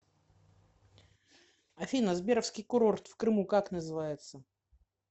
афина сберовский курорт в крыму как называется